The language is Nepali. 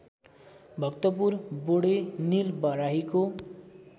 भक्तपुर बोडे निलबराहीको